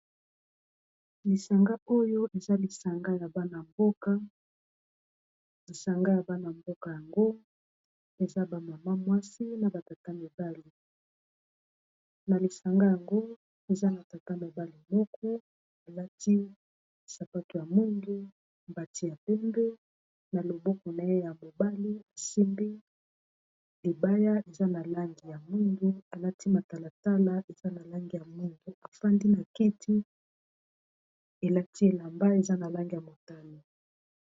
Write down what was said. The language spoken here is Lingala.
Lisanga oyo eza lisanga ya bana-mboka lisanga ya bana-mboka yango eza ba mama mwasi na ba tata mibali na lisanga yango eza na tata mobali moko alati sapato ya mwindu mbati ya pembe na loboko na ye ya mobali asimbi libaya eza na langi ya mwindu alati matalatala eza na langi ya mwindu afandi na kiti elati elamba eza na langi ya motane.